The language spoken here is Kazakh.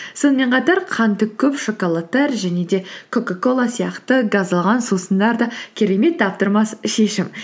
сонымен қатар қанты көп шоколадтар және де кока кола сияқты газдалған сусындар да керемет таптырмас шешім